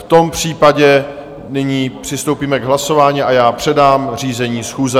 V tom případě nyní přistoupíme k hlasování a já předám řízení schůze.